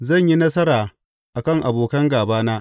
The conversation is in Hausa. Zan yi nasara a kan abokan gābana.